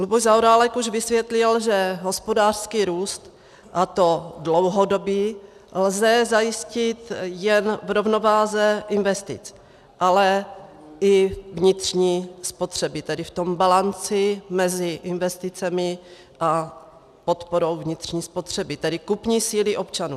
Luboš Zaorálek už vysvětlil, že hospodářský růst, a to dlouhodobý, lze zajistit jen v rovnováze investic, ale i vnitřní spotřeby, tedy v tom balanci mezi investicemi a podporou vnitřní spotřeby, tedy kupní síly občanů.